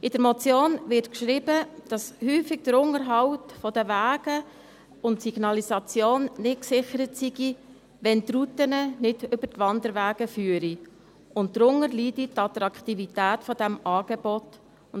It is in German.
In der Motion wird geschrieben, dass häufig der Unterhalt der Wege und die Signalisation nicht gesichert seien, wenn die Routen nicht über die Wanderwege führen, und dass darunter die Attraktivität dieses Angebots leide.